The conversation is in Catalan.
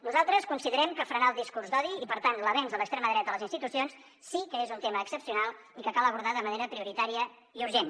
nosaltres considerem que frenar el discurs d’odi i per tant l’avenç de l’extrema dreta a les institucions sí que és un tema excepcional i que cal abordar de manera prioritària i urgent